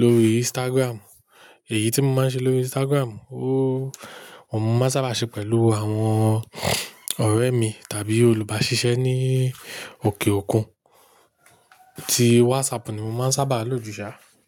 lórí Instagram. Èyí tí mo máa ń ṣe lórí Instagram, ó, òun mo máa ń sábà ṣe pẹ̀lú àwọn ọ̀rẹ́ mi tàbí olùbáṣiṣẹ́ ní òkè òkun. Ti WhatsApp ni mo máa ń sábà lò jù ṣá.